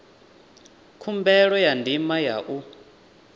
khumbelo ya ndima ya u